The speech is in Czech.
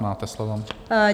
Máte slovo.